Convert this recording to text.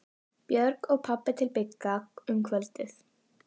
Björg og pabbi til Bigga um kvöldið.